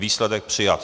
Výsledek přijat.